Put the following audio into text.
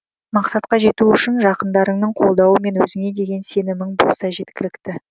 мақсатқа жету үшін жақындарыңның қолдауы мен өзіңе деген сенімің болса жеткілікті